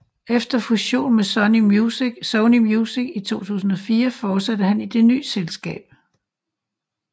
Efter fusion med Sony Music i 2004 fortsatte han i det nye selskab